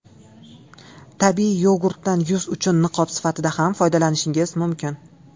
Tabiiy yogurtdan yuz uchun niqob sifatida ham foydalanishingiz mumkin.